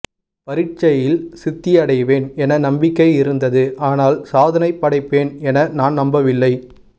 பரீட்சையில் சித்தியடைவேன் என நம்பிக்கை இருந்தது ஆனால் சாதனை படைப்பேன் என நான் நம்பவில்லை